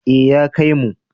Ee ya kaimu.